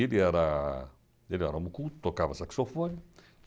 Ele era homem culto, tocava saxofone.